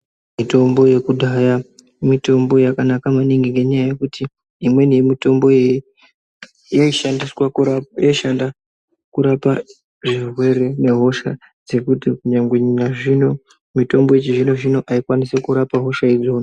Mitombo yekudhaya mitombo yakanaka maningi ngenyaya yekuti imweni yemitombo iyi yaishanda kurapa zvirwere nehosha dzekuti kunyangwe mitombo yechizvino-zvino aikwanisi kurapa hosha iyoyo.